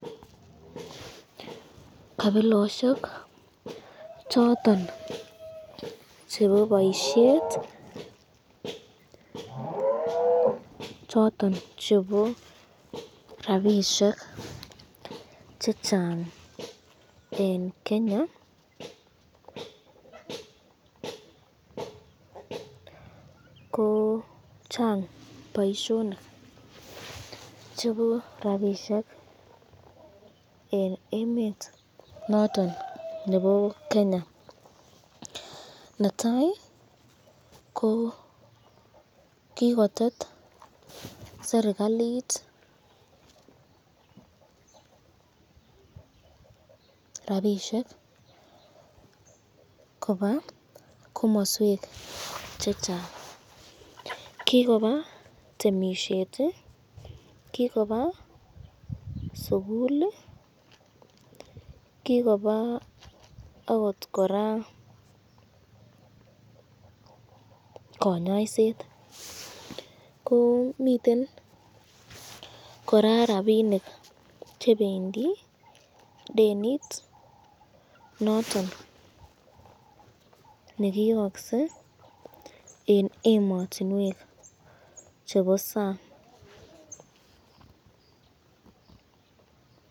Kabiloshek choton chebo boisyet choton chebo rapishek chechang eng Kenya ko Chang boisyonik choton eng emet noton nebo Kenya, netai ko kikotoret serikalit rapishek koba komaswek chechang, kikoba temisyet, kikoba sukul, kikoba akot koraa konyaiset, ko miten koraa rapinik chebendi denit notok nekiyokse eng ematinwek chebo sang.